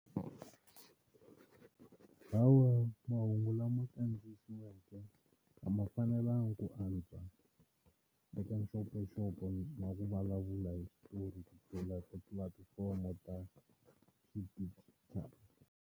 Hawa mahungu lama kandziyisiweke a ma fanelanga ku antswa eka nxopanxopo wa ku vulavula hi switori ku tlula tipulatifomo ta xidijitali.